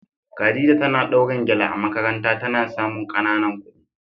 Khadija tana dawrin gele a makaranta ta na samun kananan kudi.